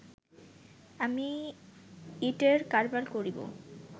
আমি ইঁটের কারবার করিব